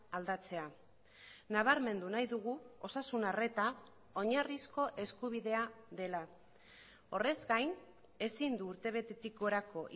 aldatzea nabarmendu nahi dugu osasun arreta oinarrizko eskubidea dela horrez gain ezin du urtebetetik gorako